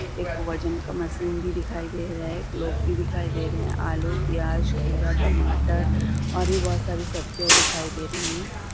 एक वजन का मशीन भी दिखाई दे रहा है लोग भी दिखाई दे रहे है आलू प्याज खीरा टमाटर और भी बोत सारी सब्जियां दिखाई दे रही है।